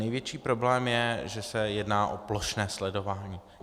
Největší problém je, že se jedná o plošné sledování.